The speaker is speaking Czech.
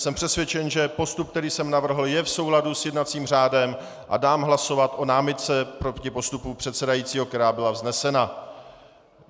Jsem přesvědčen, že postup, který jsem navrhl, je v souladu s jednacím řádem, a dám hlasovat o námitce proti postupu předsedajícího, která byla vznesena.